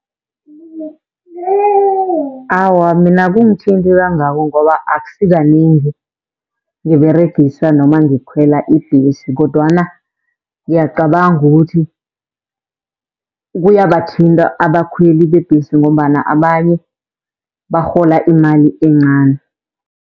Awa, mina akungithinti kangako ngoba akusi kanengi ngiberegisa noma ngikhwela ibhesi kodwana ngiyacabanga ukuthi, kuyabathinta abakhweli bebhesi, ngombana abanye barhola imali encani.